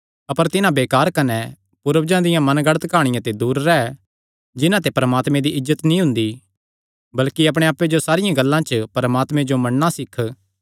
अपर तिन्हां बेकार कने पूर्वजां दियां मनगढ़ंत काहणियां ते दूर रैह् जिन्हां ते परमात्मे दी इज्जत नीं हुंदी बल्कि अपणे आप्पे जो सारियां गल्लां च परमात्मे जो मन्नणा सीख